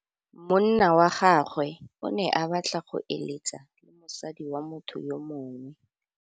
Monna wa gagwe o ne a batla go êlêtsa le mosadi wa motho yo mongwe.